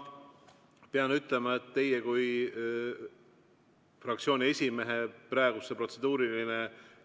Ma pean ütlema, et teie kui fraktsiooni esimehe praegune protseduuriline